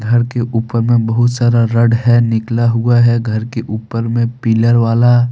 घर के ऊपर में बहुत सारा रड है निकला हुआ है घर के ऊपर में पिलर वाला।